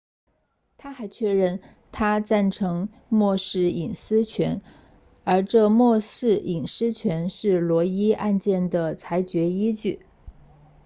他还确认他赞成默示隐私权而这默示隐私权是罗伊 roe 案件的裁决依据